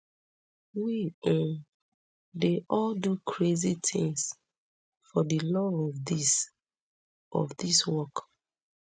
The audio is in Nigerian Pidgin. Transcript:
we um dey all do crazy tins for di love of dis of dis work